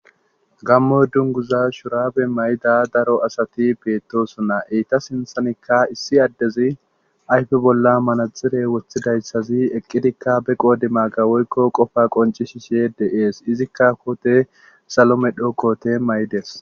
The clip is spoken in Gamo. Gamo dunguza shurabe mayda daro asati beettosonna eyta sinthanikka issi addezi ayfe bolla manadzire wothidayssazi eqqidikka be qoodi maaga woykko qofa qonci shi she de7ees izikka koote salo medho koote may7dees